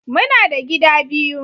Muna da gida biyu